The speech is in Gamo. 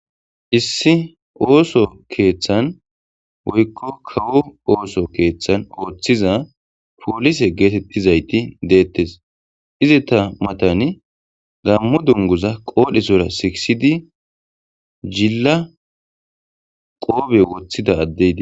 Issi osso keththan woyikko kawo osso keththan oththiza pollise getetizayiti dettes izeta mattan gammo dunguza qadhdhesora sikkisidi jilla qobbe woththidda addeyi deesi.